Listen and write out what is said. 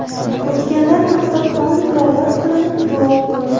O‘tganlar haqiga Qur’on tilovat qilinib, duo o‘qildi.